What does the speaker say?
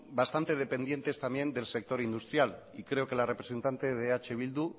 bastante dependientes también del sector industrial y creo que la representante de eh bildu